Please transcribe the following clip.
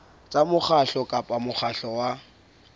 tsa mokgatlo kapa mokgatlo wa